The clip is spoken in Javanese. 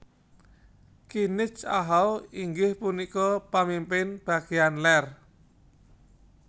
Kinich ahau inggih punika pamimpin bagéyan lèr